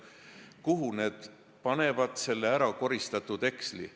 Kuhu nad panevad selle ärakoristatud heksli?